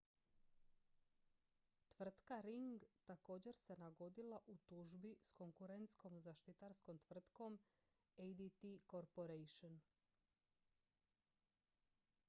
tvrtka ring također se nagodila u tužbi s konkurentskom zaštitarskom tvrtkom adt corporation